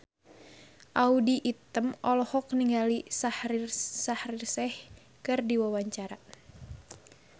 Audy Item olohok ningali Shaheer Sheikh keur diwawancara